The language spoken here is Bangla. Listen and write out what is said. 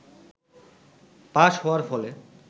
পাস হওয়ার ফলে